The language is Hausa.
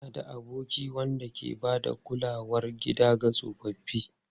Ina da aboki wanda ke ba da kulawar gida ga tsofaffi.